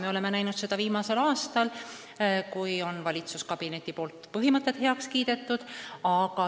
Me oleme seda näinud viimasel aastal, kui on valitsuskabineti põhimõtted üldiselt siiski heaks kiidetud.